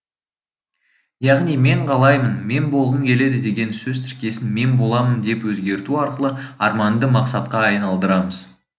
яғни мен қалаймын мен болғым келеді деген сөз тіркесін мен боламын деп өзгерту арқылы арманды мақсатқа айналдырамыз